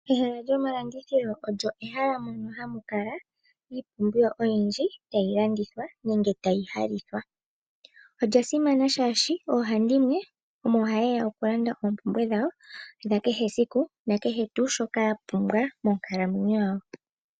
Ehala lyomalandithilo olyo ehala mono hamu kala iipumbiwa oyindji tayi landithwa nenge tayi halithwa. Olya simana shaashi oohandimwe omo haye ya okulanda oompumbwe dhawo dhakehe esiku, nakehe tuu shoka ya pumbwa monkalamwenyo yawo.